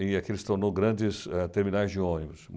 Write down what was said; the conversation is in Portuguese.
E aqui se tornou grandes eh terminais de ônibus.